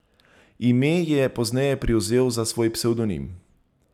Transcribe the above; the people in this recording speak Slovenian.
Ime je pozneje privzel za svoj psevdonim.